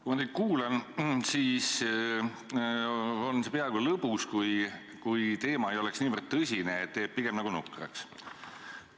Kui ma teid kuulan, siis on see peaaegu lõbus, kui ainult teema ei oleks niivõrd tõsine, et teeb pigem nukraks.